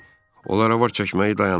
Onlar avar çəkməyi dayandırdılar.